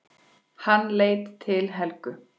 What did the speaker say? Hann leit til Helgu.